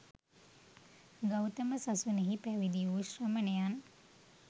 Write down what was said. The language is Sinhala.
ගෞතම සසුනෙහි පැවිදි වූ ශ්‍රමණයන්